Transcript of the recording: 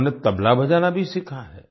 उन्होंने तबला बजाना भी सीखा है